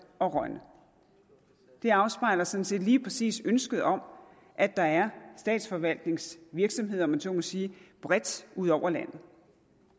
og rønne det afspejler sådan set lige præcis ønsket om at der er statsforvaltningsvirksomheder om jeg så må sige bredt ud over landet